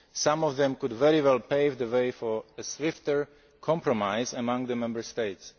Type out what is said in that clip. report. Some of them could very well pave the way for a swifter compromise among the Member